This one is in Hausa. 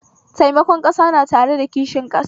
Taimakon ƙasa na tare da kishin ƙasa